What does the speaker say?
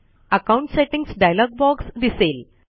account settings dialog box दिसेल